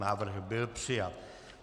Návrh byl přijat.